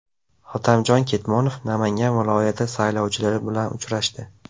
Hotamjon Ketmonov Namangan viloyati saylovchilari bilan uchrashdi.